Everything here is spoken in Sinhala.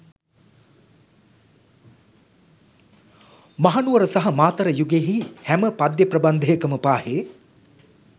මහනුවර සහ මාතර යුගයෙහි හැම පද්‍ය ප්‍රබන්ධකයම පාහේ